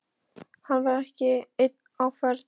Hann var ekki einn á ferð.